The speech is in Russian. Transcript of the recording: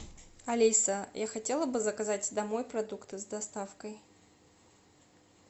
алиса я хотела бы заказать домой продукты с доставкой